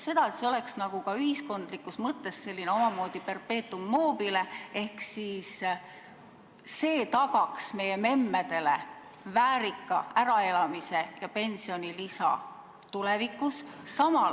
See oleks ühiskondlikus mõttes ka selline omamoodi perpetuum mobile ehk siis tagaks meie memmedele väärika äraelamise ja pensionilisa tulevikus?